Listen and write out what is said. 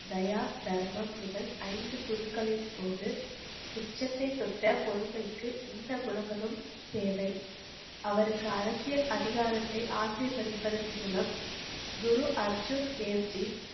தயா, தருமம், முதல் ஐந்து குருக்களின் போது, உச்சத்தை தொட்ட பொறுமைக்கு, இந்த குணங்களும் தேவை. அவருக்கு அரசியல் அதிகாரத்தை ஆசிர்வதிப்பத்தின் மூலம் குரு அர்ஜுன் தேவகி,